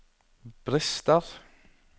brister